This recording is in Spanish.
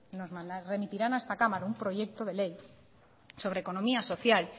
nos remitirán a esta cámara un proyecto de ley sobre economía social